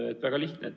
Väga lihtne.